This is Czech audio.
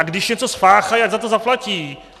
A když něco spáchají, ať za to zaplatí.